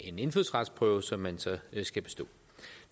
en indfødsretsprøve som man så skal bestå